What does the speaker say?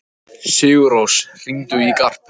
Sigurósk, hringdu í Garp.